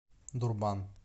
дурбан